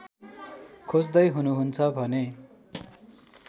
खोज्दै हुनुहुन्छ भने